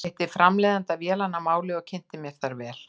Ég hitti framleiðanda vélanna að máli og kynnti mér þær vel.